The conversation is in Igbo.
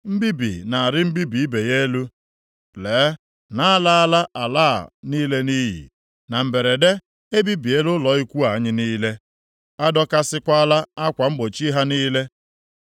Mbibi na-arị mbibi ibe ya elu, lee na a laala ala a niile nʼiyi. Na mberede, e bibiela ụlọ ikwu anyị niile; a dọkasịkwala akwa mgbochi ha niile.